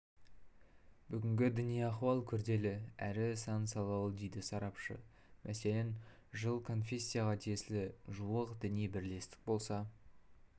бүгінгі діни ахуал күрделі әрі сан-салалы дейді сарапшы мәселен жылы конфессияға тиесілі жуық діни бірлестік болса